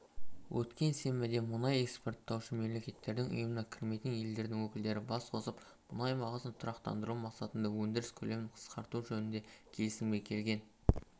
өткен сенбіде мұнай экспорттаушы мемлекеттердің ұйымына кірмейтін елдердің өкілдері бас қосып мұнай бағасын тұрақтандыру мақсатында өндіріс көлемін қысқарту жөнінде келісімге келген